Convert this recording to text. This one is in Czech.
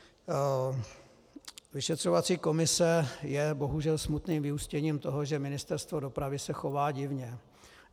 Vyšetřovací komise je bohužel smutným vyústěním toho, že Ministerstvo dopravy se chová divně.